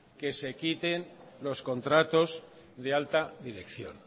que se quiten los contratos de alta dirección